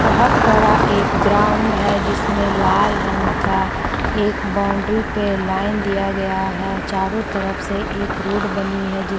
बोहोत बड़ा एक ग्राउंड है जिसमें लाल रंग का एक बाउंड्री पे लाइन दिया गया है चारों तरफ से एक रोड बनी है जिस --